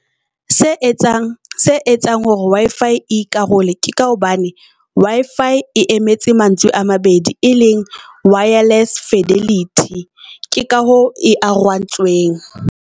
Se etsang se etsang hore Wi-Fi e ikarole ke ka hobane Wi-Fi e emetse mantswe a mabedi, e leng wireless fidelity. Ke ka ho e arohantsweng.